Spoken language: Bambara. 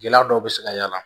Gɛlɛya dɔw bɛ se ka y'a la